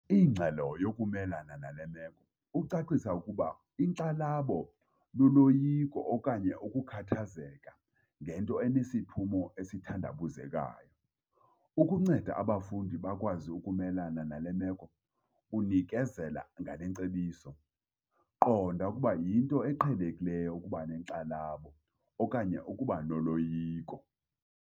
Indlela yokumelana nale meko. Ucacisa ukuba inkxalabo luloyiko okanye ukukhathazeka ngento enesiphumo esithandabuzekayo. Ukunceda abafundi bakwazi ukumelana nale meko, unikezela ngale ngcebiso- Qonda ukuba yinto eqhelekileyo ukuba nenkxalabo okanye ukuba noloyiko.